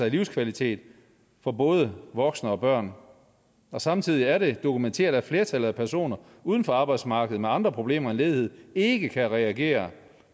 livskvalitet for både voksne og børn samtidig er det dokumenteret at flertallet udenfor arbejdsmarkedet med andre problemer end ledighed ikke kan reagere